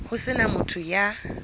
ho se na motho ya